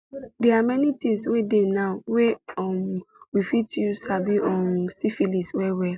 they are many things were dey now were um we fit use sabi um syphilis well well